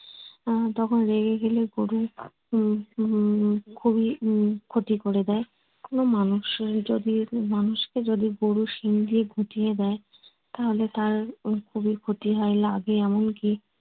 আহ তখন রেগে গেলে গরু উম খুবই উম ক্ষতি করে দেয় কোনো মানুষের যদি মানুষকে যদি গরু শিং দিয়ে গুতিয়ে দেয় তাহলে তার খুবই ক্ষতি হয় লাগে এমন কী